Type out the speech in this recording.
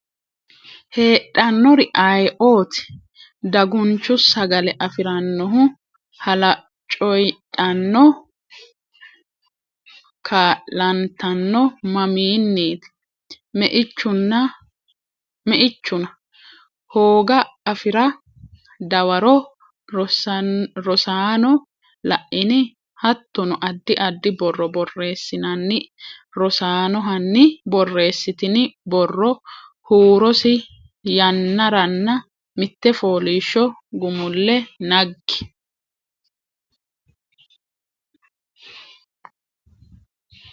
heedhannori ayeeooti? Dagunchu sagale afi’rannohu Halaacoydhanno kaa’lantanno mamiinniiti? Meichuna? hooga afi’ra Dawaro Rosaano la’ini? Hattono addi addi borro borreessinanni Rosaano hanni borreessitini borro huurosi yannaranna mitte fooliishsho gumulle naggi?